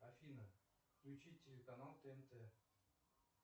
афина включи телеканал тнт